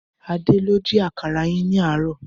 Adé ló ji àkàrà yín ní àárọ̀